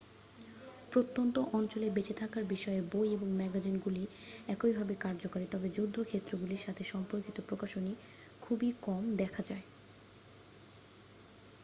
প্রত্যন্ত অঞ্চলে বেঁচে থাকার বিষয়ে বই এবং ম্যাগাজিনগুলি একইভাবে কার্যকরী তবে যুদ্ধ ক্ষেত্রগুলির সাথে সম্পর্কিত প্রকাশনী খুবই কম দেখা যায়